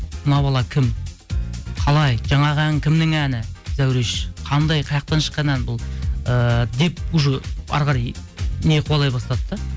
мына бала кім қалай жаңағы ән кімнің әні зәуреш қандай қаяқтан шыққан ән бұл ыыы деп уже әрі қарай не қуалай бастады да